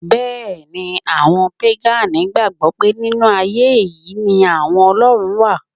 Bẹ́ẹ̀ni, àwọn pégànì gbàgbọ́ pé nínú ayé è yí ni àwọn Ọlọ́run wà